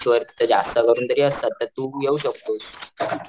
बीचवर तिथे जास्त करून तरी असतात तर तू येऊ शकतोस.